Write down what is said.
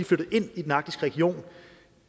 flyttet ind i den arktiske region